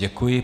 Děkuji.